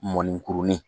Mɔnikurunin